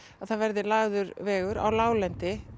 það verði lagður vegur á láglendi